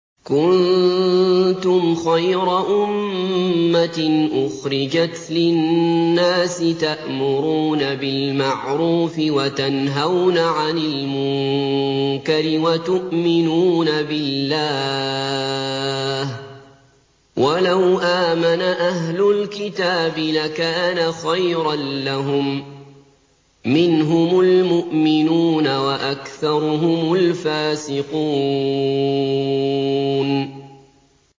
كُنتُمْ خَيْرَ أُمَّةٍ أُخْرِجَتْ لِلنَّاسِ تَأْمُرُونَ بِالْمَعْرُوفِ وَتَنْهَوْنَ عَنِ الْمُنكَرِ وَتُؤْمِنُونَ بِاللَّهِ ۗ وَلَوْ آمَنَ أَهْلُ الْكِتَابِ لَكَانَ خَيْرًا لَّهُم ۚ مِّنْهُمُ الْمُؤْمِنُونَ وَأَكْثَرُهُمُ الْفَاسِقُونَ